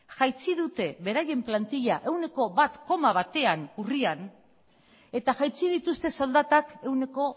jaitsi dute beraien plantila ehuneko bat koma batean urrian eta jaitsi dituzte soldatak ehuneko